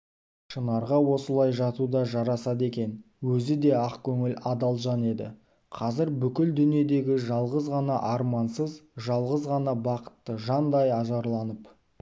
шынарға осылай жату да жарасады екен өзі де ақкөңіл адал жан еді қазір бүкіл дүниедегі жалғыз ғана армансыз жалғыз ғана бақытты жандай ажарланып